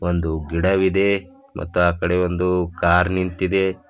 ಒಂದು ಗಿಡವಿದೆ ಮತ್ ಆ ಕಡೆ ಒಂದು ಕಾರ್ ನಿಂತಿದೆ.